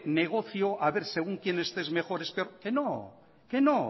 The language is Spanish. negocio a ver según quién esté es mejor o peor que no